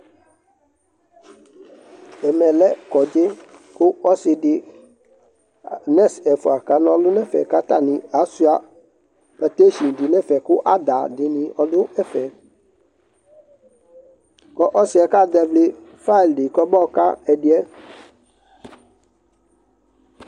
Ɛmɛ lɛ kɔdzɩ kʋ ɔsɩ dɩ, nɛs ɛfʋa kana ɔlʋ nʋ ɛfɛ kʋ atanɩ asʋɩa patesin dɩ nʋ ɛfɛ kʋ ada dɩnɩ ɔdʋ ɛfɛ kʋ ɔsɩ yɛ kazɛvɩ fayl dɩ kɔmayɔka ɛdɩ yɛ